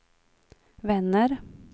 vänner